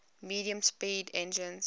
medium speed engines